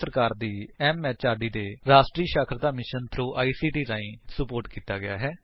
ਇਹ ਭਾਰਤ ਸਰਕਾਰ ਦੀ ਐਮਐਚਆਰਡੀ ਦੇ ਰਾਸ਼ਟਰੀ ਸਾਖਰਤਾ ਮਿਸ਼ਨ ਥ੍ਰੋ ਆਈਸੀਟੀ ਰਾਹੀਂ ਸੁਪੋਰਟ ਕੀਤਾ ਗਿਆ ਹੈ